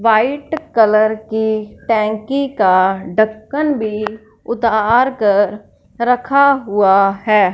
White colour की टंकी का ढक्कन भी उतार कर रखा हुआ है।